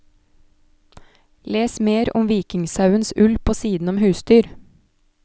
Les mer om vikingsauens ull på siden om husdyr.